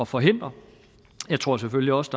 forhindre jeg tror selvfølgelig også